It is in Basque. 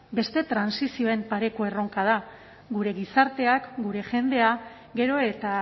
beste trantsizioen pareko erronka da gure gizartea gure jendea gero eta